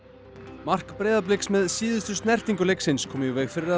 mark Breiðabliks með síðustu snertingu leiksins kom í veg fyrir að